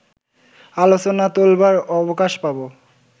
আলোচনা তোলবার অবকাশ পাবো